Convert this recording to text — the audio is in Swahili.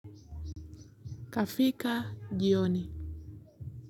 Kafika jioni.